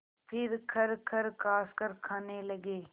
फिर खरखर खाँसकर खाने लगे